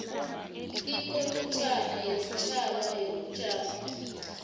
ikomitjhana yesitjhaba yobujamo